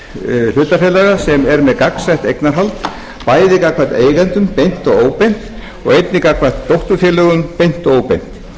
tegund hlutafélaga sem eru með gegnsætt eignarhald bæði gagnvart eigendum beint og óbeint og einnig gagnvart dótturfyrirtækjum beint og óbeint